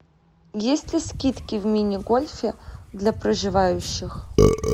есть ли скидки в мини гольфе для проживающих